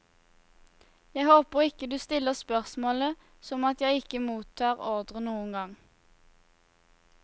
Jeg håper ikke du stiller spørsmålet som at jeg ikke mottar ordrer noen gang.